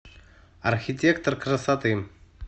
архитектор красоты